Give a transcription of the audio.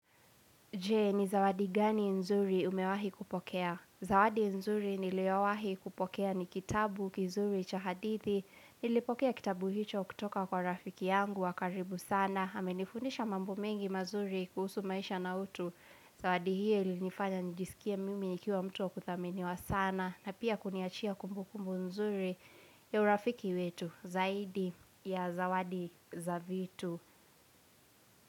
Je, ni zawadi gani nzuri umewahi kupokea? Zawadi nzuri niliowahi kupokea ni kitabu, kizuri, cha hadithi, nilipokea kitabu hicho kutoka kwa rafiki yangu wa karibu sana. Ame nifundisha mambo mengi mazuri kuhusu maisha na utu. Zawadi hiyo ilinifanya nijisikie mimi nikiwa mtu wa kuthaminiwa sana. Na pia kuniachia kumbukumbu nzuri ya urafiki wetu zaidi ya zawadi za vitu.